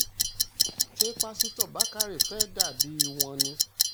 ṣé páṣítọ̀ bàkàrẹ fẹ́ẹ́ dà bíi wọn ni